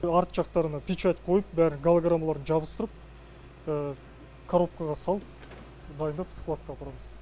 артқы жақтарына печать қойып бәрін голограммаларын жабыстырып коробкаға салып дайындап складқа апарамыз